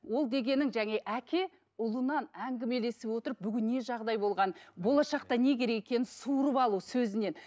ол дегенің әке ұлынан әңгімелесіп отырып бүгін не жағдай болғанын болашақта не керек екенін суырып алу сөзінен